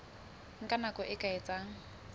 nka nako e ka etsang